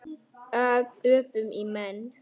Öpum í menn.